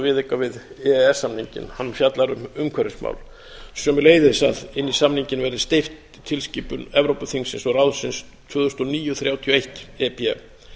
viðauka við e e s samninginn hann fjallar um umhverfismál sömuleiðis að inn í samninginn verði steypt tilskipun evrópuþingsins og ráðsins tvö þúsund og níu þrjátíu og eitt e b